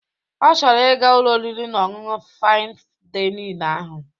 Ọ chọrọ ị ga Ụlọ oriri na ọṅụṅụ Fain Dainịn ahụ